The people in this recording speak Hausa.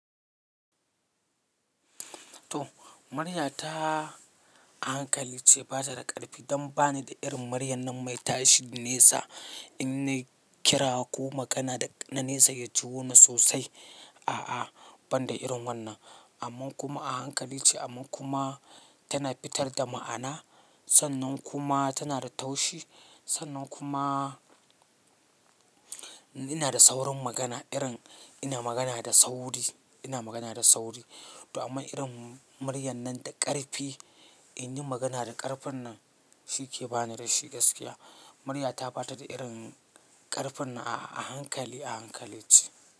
To, murya ta a hankali ce ba ta da ƙarfi don ba ni da irin muryar nan mai tashi nesa in nayi kira ko magana da na nesa ya ji wo ni sosai. A'a, ban da irin wannan. Amman kuma a hankali ce, amman kuma tana fitar da ma'ana. Sannan kuma tana da taushi. Sannan kuma ina da saurin magana irin ina magana da sauri, ina magana da sauri. To amma irin muryar nan da ƙarfi, in yi magana da ƙarfin nan shi ke ba ni da shi gaskiya. Murya ta ba ta da irin ƙarfin nan a, a a hankali, a hankali ce.